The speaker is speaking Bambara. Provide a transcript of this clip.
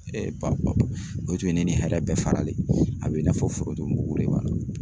o tun ye ne ni hɛrɛ bɛɛ faralen ye, a bi n'a fɔ foromugu de b'a la